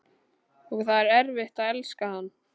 Og það var erfitt að elska hann.